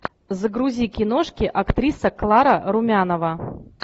загрузи киношки актриса клара румянова